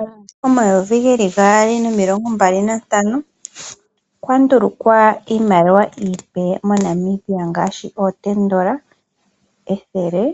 Omumvo Omayovi geli gaali nomilonga mbali na ntano okwali kwa ndulukwa iimaliwa iipe mo Namibia ngaashi oondola omulongo, ethele,